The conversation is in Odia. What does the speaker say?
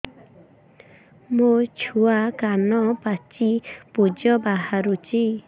ମୋ ଛୁଆ କାନ ପାଚି ପୂଜ ବାହାରୁଚି